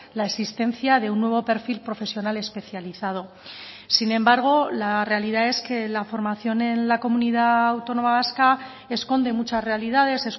la existencia de un nuevo perfil profesional especializado sin embargo la realidad es que la formación en la comunidad autónoma vasca esconde muchas realidades